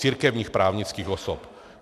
Církevních právnických osob.